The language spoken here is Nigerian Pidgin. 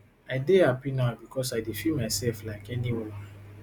i dey happi now because i dey feel myself like any woman